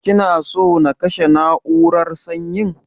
Kina so na kashe na'urar sanyin.